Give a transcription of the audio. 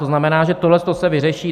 To znamená, že tohle se vyřeší.